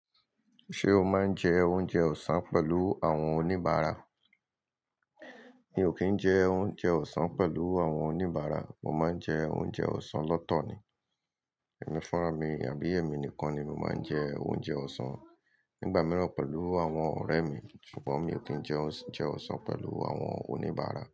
Ṣé o máa ń jẹ oúnjẹ ọ̀sán pẹ̀lú àwọn oníbàárà? Mi ò kí ń jẹ oúnjẹ ọ̀sán pẹ̀lú àwọn oníbàárà, mo máa ń jẹ oúnjẹ ọ̀sán lọ́tọ̀ ni. Ẹ̀mí funrá mi àbí emi nìkan ni mo máa ń jẹ oúnjẹ ọ̀sán. Nígbà mìíràn pẹ̀lú àwọn ọ̀rẹ́ mi, ṣùgbọ́n mi ò kí ń jẹ oúnjẹ ọ̀sán pẹ̀lú àwọn oníbàárà.